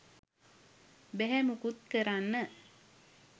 බැහැ මුකුත් කරන්න